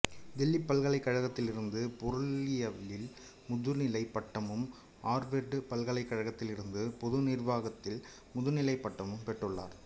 தில்லி பல்கலைக்கழகத்திலிருந்து பொருளியலில் முதுநிலைப் பட்டமும் ஆர்வர்டு பல்கலைக்கழகத்திலிருந்து பொது நிர்வாகத்தில் முதுநிலைப் பட்டமும் பெற்றுள்ளார்